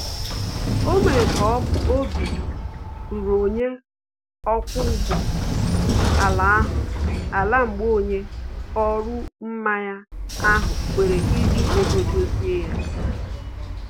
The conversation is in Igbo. O mere ka obi ruru onye ọkwa ụgbọ ala ahụ ala mgbe onye ọrụ mmanye ahụ kwere iji ego dozie